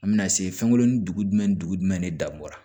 An bɛna se fɛnkɔnin dugu ni dugu de dan bɔro